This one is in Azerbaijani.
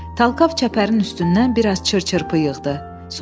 Talkav çəpərin üstündən biraz çır-çırpı yığdı.